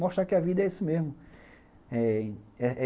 Mostrar que a vida é isso mesmo.